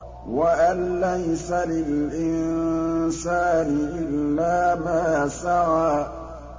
وَأَن لَّيْسَ لِلْإِنسَانِ إِلَّا مَا سَعَىٰ